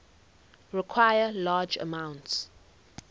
require large amounts